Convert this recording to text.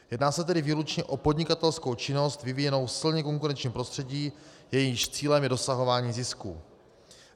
Jedná se tedy výlučně o podnikatelskou činnost vyvíjenou v silně konkurenčním prostředí, jejímž cílem je dosahování zisku.